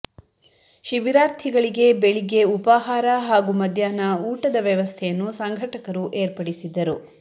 ಶಿಬಿರಾರ್ಥಿಗಳಿಗೆ ಬೆಳಿಗ್ಗೆ ಉಪಹಾರ ಹಾಗೂ ಮಧ್ಯಾಹ್ನ ಊಟದ ವ್ಯವಸ್ಥೆಯನ್ನು ಸಂಘಟಕರು ಏರ್ಪಡಿಸಿದ್ದರು